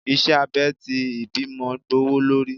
iṣẹ abè ti ìbímo gbówólorí